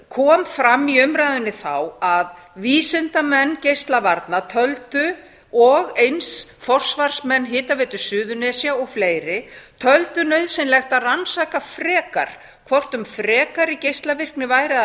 kom fram í umræðunni þá að vísindamenn geislavarna töldu og eins forsvarsmenn hitaveitu suðurnesja og fleiri töldu nauðsynlegt að rannsaka frekar hvort um frekari geislavirkni væri að